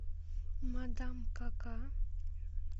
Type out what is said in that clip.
мадам кака